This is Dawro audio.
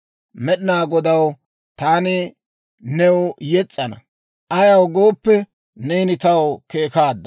Med'inaa Godaw, taani new yes's'ana; ayaw gooppe, neeni taw keekkaadda.